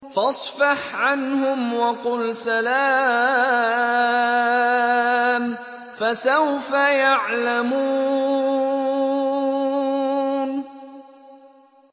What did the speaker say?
فَاصْفَحْ عَنْهُمْ وَقُلْ سَلَامٌ ۚ فَسَوْفَ يَعْلَمُونَ